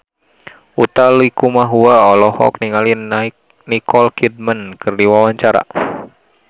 Utha Likumahua olohok ningali Nicole Kidman keur diwawancara